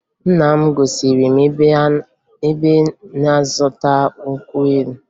Nna m gosiri m ebe ọ na-azụta nkwụ elu